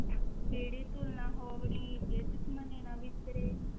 ਕੀੜੀ ਤੁਲਿ ਨਾ ਹੋਵਨੀ ਜੇ ਤਿਸੁ ਮਨਹ ਨਾ ਵੀਸਰਹ।